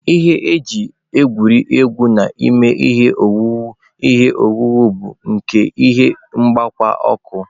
Ihe e ji egwuri egwu na-eme ihe owuwu ihe owuwu bụ nke ihe mgbawa ọkụ.